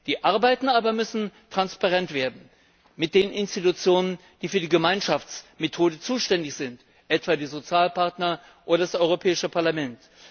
Die Arbeiten müssen aber transparent werden mit den Institutionen, die für die Gemeinschaftsmethode zuständig sind, etwa die Sozialpartner oder das Europäische Parlament.